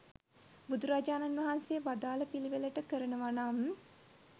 බුදුරජාණන් වහන්සේ වදාළ පිළිවෙලට කරනව නම්